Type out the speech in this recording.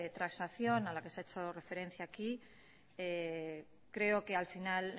transacción a la que se ha hecho referencia aquí creo que al final